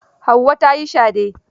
Hauwa ta yi shade.